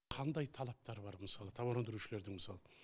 қандай талаптар бар мысалы тауар өндірушілердің мысалы